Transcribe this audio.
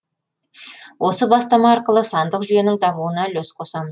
осы бастама арқылы сандық жүйенің дамуына үлес қосам